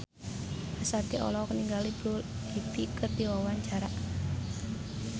Ashanti olohok ningali Blue Ivy keur diwawancara